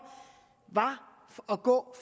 var at gå